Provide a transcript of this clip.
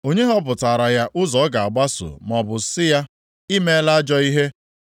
Onye họpụtaara ya ụzọ ọ ga-agbaso, maọbụ sị ya ‘I meela ajọ ihe’?